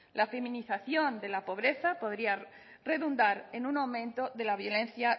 la feminización de la pobreza podría redundar en un aumento de la violencia